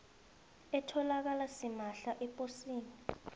etholakala simahla eposini